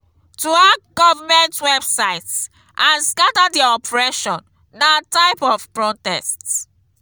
to hack government websites and scatter their operation na type of protest